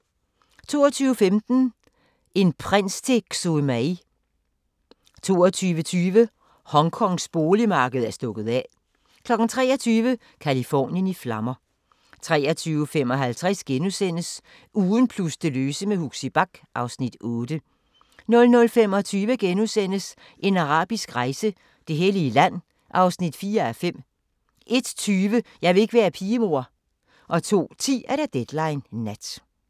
22:15: En prins til Xue Mei 22:20: Hongkongs boligmarked er stukket af 23:00: Californien i flammer 23:55: Ugen plus det løse med Huxi Bach (Afs. 8)* 00:25: En arabisk rejse: Det hellige land (4:5)* 01:20: Jeg vil ikke være pige, mor 02:10: Deadline Nat